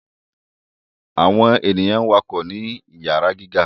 Awọn ènìyàn wakọ ni iyara gíga